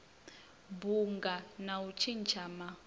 bunga na u tshintsha ma